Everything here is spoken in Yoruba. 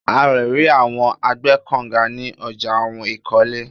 À le ri awọn agbẹ́kọ̀nga ní ọjà ohun ìkọ́lé.